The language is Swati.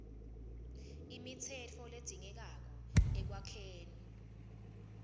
imitsetfo ledzingekako ekwakheni